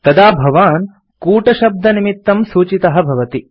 तदा भवान् कूटशब्दनिमित्तं सूचितः भवति